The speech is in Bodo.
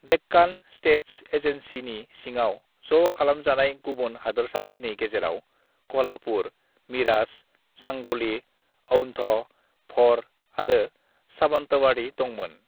"डेक्कान स्टेट्स एजेन्सीनि सिङाव ज' खालामजानाय गुबुन हादोरसाफोरनि गेजेराव कल्हापुर, मिराज, सांगली, औन्ध, भ'र आरो सावन्तवाड़ी दंमोन।"